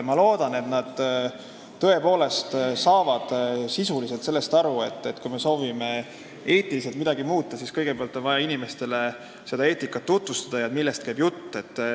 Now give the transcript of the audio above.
Ma loodan, et nad tõepoolest saavad sisuliselt sellest aru, et kui me soovime eetikas midagi muuta, siis kõigepealt on vaja inimestele seda eetikat tutvustada, rääkida, millest käib jutt.